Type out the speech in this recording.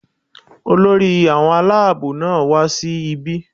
Olórí àwọn alábò náà wá sí ibí